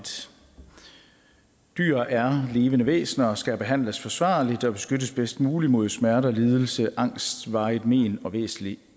dyr er levende væsener og skal behandles forsvarligt og beskyttes bedst muligt mod smerte lidelse angst varigt men og væsentlig